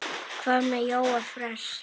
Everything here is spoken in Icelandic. Hvað með Jóa fress?